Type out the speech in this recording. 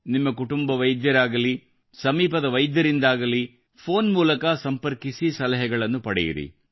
ನಿಮ್ಮ ಕುಟುಂಬ ವೈದ್ಯರಾಗಲಿ ಸಮೀಪದ ವೈದ್ಯರಿಂದಾಗಲಿ ಫೋನ್ ಮೂಲಕ ಸಂಪರ್ಕಿಸಿ ಸಲಹೆಗಳನ್ನು ಪಡೆಯಿರಿ